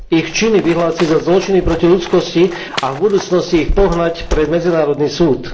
Ich činy vyhlásiť za zločiny proti ľudskosti a v budúcnosti ich pohnať pred medzinárodný súd.